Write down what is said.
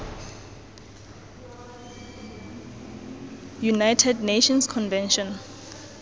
united nations convention